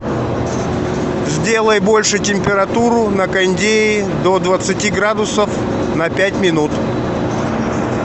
сделай больше температуру на кондее до двадцати градусов на пять минут